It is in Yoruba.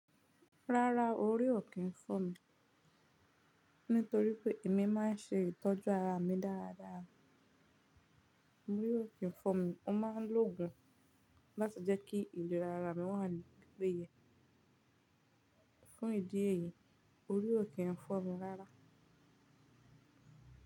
Rárá orí ò kí ń fọ́ mi, nítorí pé èmi máa ń ṣe ìtọ́jú ara mi dáradára. Ori ò kí ń fọ́ mi, mo máa ń lo òògùn láti jẹ́ kí ìlera ara mi wà ní pipéye. Fún ìdí èyí, orí ò kí ń fọ́ mi rárá.